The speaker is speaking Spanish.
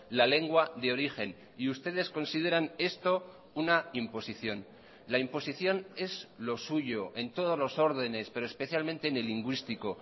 la lengua de origen y ustedes consideran esto una imposición la imposición es lo suyo en todos los órdenes pero especialmente en el lingüístico